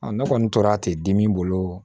ne kɔni tora ten dimi bolo